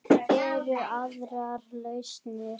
Eru aðrar lausnir?